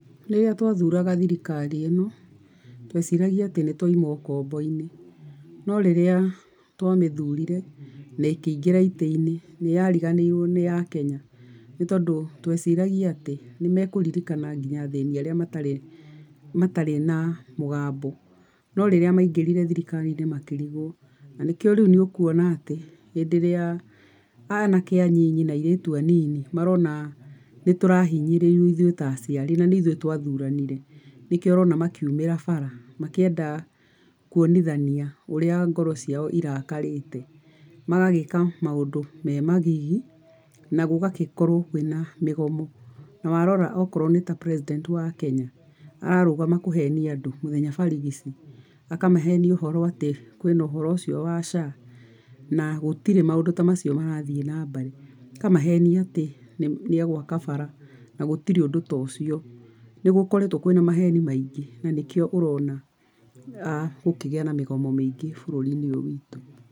Rĩrĩa twathuraga thirikari ĩno, tweciragia atĩ nĩ twauma ũkombo-inĩ, no rĩrĩa twamĩthurire na ĩkĩingĩra itĩ-inĩ nĩyariganĩirwo nĩ Akenya, nĩ tondũ tweciragia atĩ nĩmekũririkana nginya athĩni arĩa matarĩ matarĩ na mũgambo. No rĩrĩa maingĩrire thirikari-inĩ makĩrigwo na nĩkĩo rĩu nĩũkuona atĩ hĩndĩ ĩrĩa anake anini na airitu anini marona nĩ tũrahinyĩrĩrio ithuĩ ta aciari na nĩ ithuĩ twathuranire, nikĩo ũrona makiumĩra bara makĩenda kuonithania ũrĩa ngoro ciao irakarĩte. Magagĩka maũndũ me magigi, na gũgagĩkorwo kwĩna mĩgomo na warora akorwo nĩ ta president wa Kenya ararũgama kũhenia andũ mũthenya barigici, akamahenia ũhoro atĩ kwĩ na ũhoro ũcio wa SHA na gũtirĩ maũndũ ta macio marathiĩ na mbere, akamahenia atĩ nĩegũaka bara, na gũtirĩ ũndũ ta ũcio. Nĩ gũkoretwo kwĩ na maheni maingĩ na nĩkĩo ũrona gũkĩgĩa na mĩgomo mĩingĩ bũrũri-inĩ ũyũ witũ.